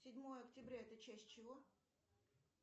седьмое октября это часть чего